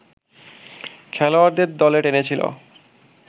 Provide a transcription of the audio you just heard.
খেলোয়াড়দের দলে টেনেছিল